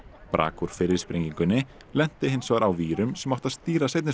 brak úr fyrri sprengingunni lenti hins vegar á vírum sem áttu að stýra seinni